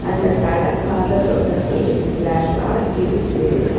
அந்த கடக்காரரோட ஃபேஸ் பிளர்ரா இருக்கு.